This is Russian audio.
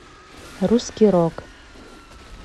русский рок